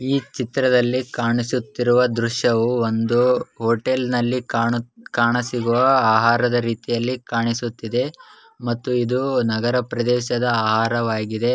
ಈ ಚಿತ್ರದಲ್ಲಿ ಕಾಣಿಸುತ್ತಿರುವ ದೃಶ್ಯವೂ ಒಂದು ಹೋಟೆಲ್ನಲ್ಲಿ ಕಾಣ ಕಾಣಿಸಿರುವ ಆಹಾರದ ರೀತಿ ಕಾಣಿಸುತ್ತಿದೆ ಮತ್ತು ಇದು ನಗರ ಪ್ರದೇಶದ ಆಹಾರವಾಗಿದೆ.